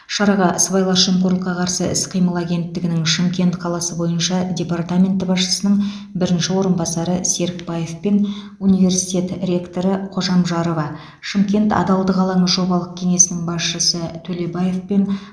шараға сыбайлас жемқорлыққа қарсы іс қимыл агенттігінің шымкент қаласы бойынша департаменті басшысының бірінші орынбасары серікбаев пен университет ректоры қожамжарова шымкент адалдық алаңы жобалық кеңесінің басшысы төлебаев пен